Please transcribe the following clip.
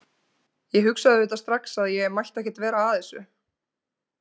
Ég hugsaði auðvitað strax að ég mætti ekkert vera að þessu.